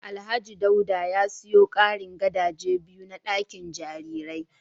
Alhaji Dauda ya siyo karin gadaje biyu na dakin jarirai